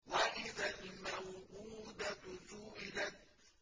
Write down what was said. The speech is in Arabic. وَإِذَا الْمَوْءُودَةُ سُئِلَتْ